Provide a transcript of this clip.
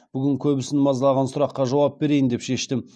бүгін көбісін мазалаған сұраққа жауап береи ін деп шештім